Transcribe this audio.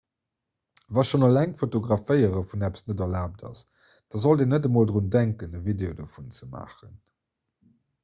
wa schonn eleng d'fotograféiere vun eppes net erlaabt ass da sollt een net emol drun denken e video dovun ze maachen